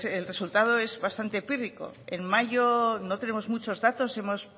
el resultado es bastante pírrico en mayo no tenemos muchos datos hemos